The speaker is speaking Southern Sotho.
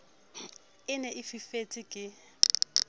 e ne e fifetse ke